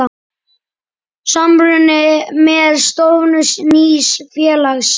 Samruni með stofnun nýs félags.